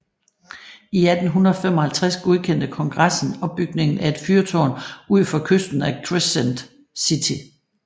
I 1855 godkendte Kongressen opbygningen af et fyrtårn udfor kysten af Crescent City